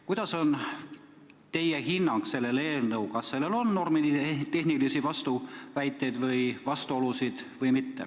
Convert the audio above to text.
Kuidas teie hindate, kas selles eelnõus on normitehnilisi vastuolusid või mitte?